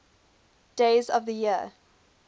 days of the year